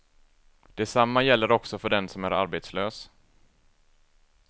Detsamma gäller också för den som är arbetslös.